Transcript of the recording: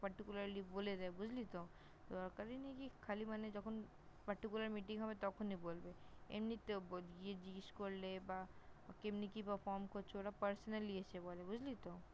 Perticularly বলে দেয় বুঝলি তো? কি খালি মানে যখন Pertucular Meeting হবে তখনই বলবে, এমনিতেও গিয়ে জিগেস করলে বা এমনি কি perform করছ ওরা Personally এসে বলে, বুঝলি তো?